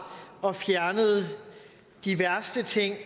og fjernede de værste ting